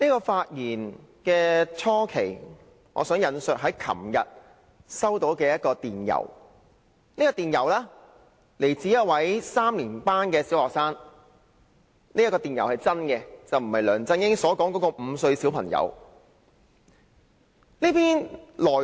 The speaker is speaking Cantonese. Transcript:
發言開始時，我想先引述昨天收到的一封電郵來信，來自一位3年級小學生——這封電郵是真實的，並非如梁振英曾引述的5歲小朋友來信。